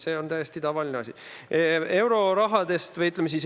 See on täiesti tavaline asi.